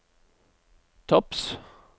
topps